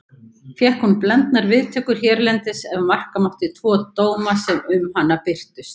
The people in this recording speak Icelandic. Fékk hún blendnar viðtökur hérlendis ef marka mátti tvo dóma sem um hana birtust.